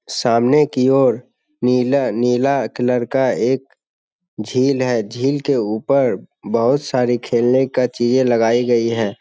सामने की ओर नीला-नीला कलर का एक झील है झील के ऊपर बहुत सारी खेलने का चीज़े लगाई गई है।